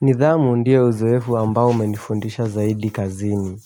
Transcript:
Nidhamu ndia uzoefu ambao umenifundisha zaidi kazini.